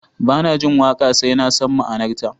Ba na jin waƙa sai na san ma'anarta